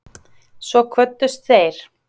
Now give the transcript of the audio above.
Svo kvöddust þeir.